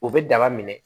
U bɛ daba minɛ